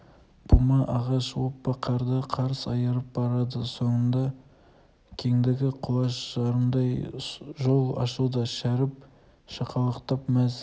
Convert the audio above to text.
бума ағаш оппа қарды қарс айырып барады соңында кеңдігі құлаш жарымдай жол ашылды шәріп шақалақтап мәз